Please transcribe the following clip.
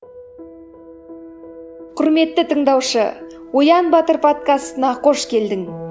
құрметті тыңдаушы оян батыр подкастына қош келдің